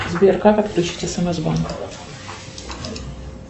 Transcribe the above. сбер как отключить смс банк